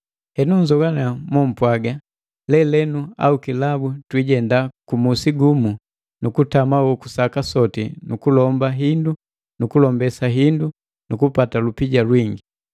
Henu, nnzoannya mompwaga: “Lelenu au kilabu twiijenda ku musi gumu nu kutama hoku saka soti nu kulomba hindu nu kulombesa hindu nu kupata lupija lwingi.”